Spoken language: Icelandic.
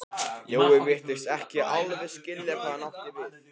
Jói virtist ekki alveg skilja hvað hann átti við.